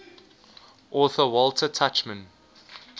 author walter tuchman